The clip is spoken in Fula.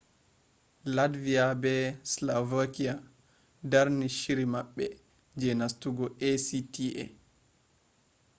latviya be slovakiya darni shiri maɓɓe je nastugo acta